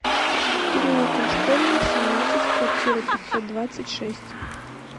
переулком школьным семнадцать в квартира пятьсот двадцать шесть